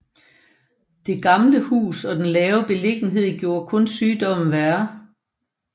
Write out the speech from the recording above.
Det gamle hus og den lave beliggenhed gjorde kun sygdommen værre